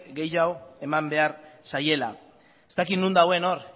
gehiago eman behar zaiela ez dakit non dagoen hor